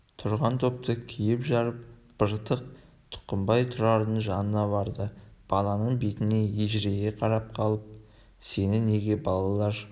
тұрған топты киіп-жарып быртық тұқымбай тұрардың жанына барды баланың бетіне ежірейе қарап қалып сені неге балалар